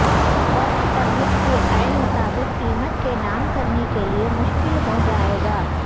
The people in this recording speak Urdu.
ورک پرمٹ کے عین مطابق قیمت کے نام کرنے کے لئے مشکل ہو جائے گا